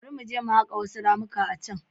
Bari mu je mu haƙa wasu ramuka a can.